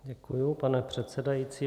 Děkuji, pane předsedající.